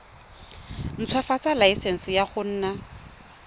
ntshwafatsa laesense ya go nna